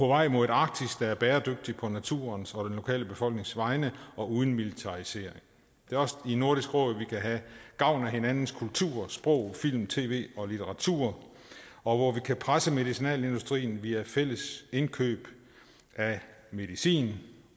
vej mod et arktis der er bæredygtigt på naturens og den lokale befolknings vegne og uden militarisering det er også i nordisk råd vi kan have gavn af hinandens kultur sprog film tv og litteratur og hvor vi kan presse medicinalindustrien via fælles indkøb af medicin